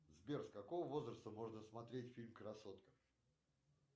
сбер с какого возраста можно смотреть фильм красотка